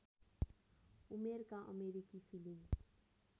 उमेरका अमेरिकी फिलिम